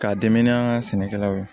K'a dɛmɛ n'an ka sɛnɛkɛlaw ye